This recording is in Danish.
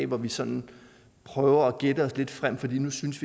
hvor vi sådan prøver at gætte os lidt frem fordi vi nu synes